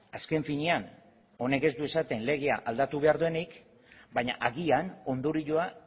azken finean honek ez du esaten legea aldatu behar denik baina agian ondorioa